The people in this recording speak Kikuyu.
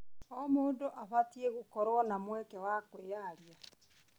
O mũndũ abatiĩ gũkorwo na mweke wa kwĩyaria.